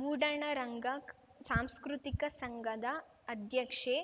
ಮೂಡಣರಂಗ ಸಾಂಸ್ಕೃತಿಕ ಸಂಘದ ಅಧ್ಯಕ್ಷೆ